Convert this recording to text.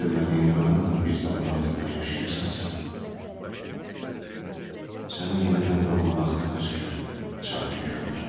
Sevmədiyin qadınnan bir damın altında yaşayırsansa, sənə yenidən doğulmaqdan özgə çarə görmürəm.